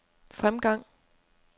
fremgang